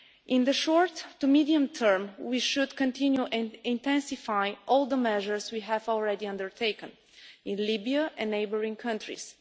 In the short to medium term, we should continue and intensify all the measures we have already undertaken in Libya and neighbouring countries.